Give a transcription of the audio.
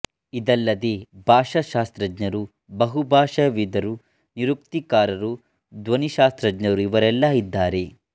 ಇದಲ್ಲದೆ ಭಾಷಾಶಾಸ್ತ್ರಜ್ಞರು ಬಹುಭಾಷಾವಿದರು ನಿರುಕ್ತಿಕಾರರು ಧ್ವನಿ ಶಾಸ್ತ್ರಜ್ಞರು ಇವರೆಲ್ಲ ಇದ್ದಾರೆ